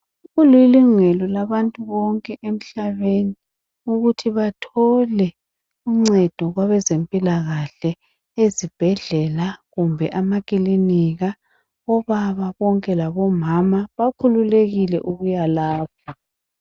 Kulilungelo labantu bonke emhlabeni ukuthi bathole uncendo kwabezempilakahle , ezibhedlela kumbe amaklinika. Obaba bonke labomama bakhululekile ukuya lapho.